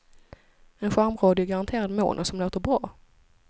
En charmradio i garanterad mono som låter bra.